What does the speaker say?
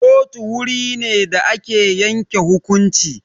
Kotu wuri ne da ake yanke hukunci.